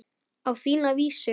Á þína vísu.